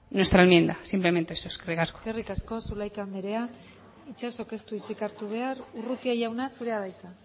nuestra enmienda simplemente eso eskerrik asko eskerrik asko zulaika andrea itxasok ez du hitzik hartu behar urrutia jauna zurea da hitza